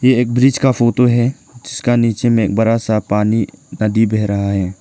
ये एक ब्रिज का फोटो है जिसका नीचे में एक बड़ा सा पानी नदी बह रहा है।